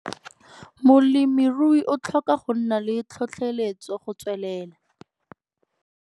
Molemirui o tlhoka go nna le tlotlheletso go tswelela!